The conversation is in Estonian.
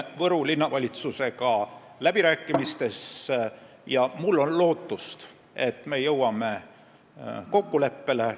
Meil käivad läbirääkimised Võru Linnavalitsusega ja on lootust, et me jõuame kokkuleppele.